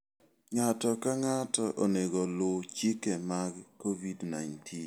Ng'ato ka ng'ato onego oluw chike mag Covid-19.